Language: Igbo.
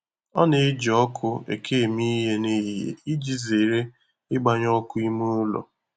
Ọ na-eji ọkụ eke eme ihe n'ehihie iji zere ịgbanye ọkụ ime ụlọ.